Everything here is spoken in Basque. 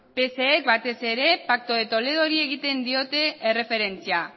pse batez pacto de toledori egiten diote erreferentzia